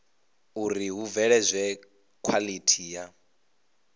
uri hu bveledzwe khwalithi ya